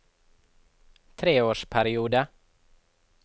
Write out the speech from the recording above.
treårsperiode